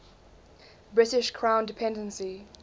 british crown dependency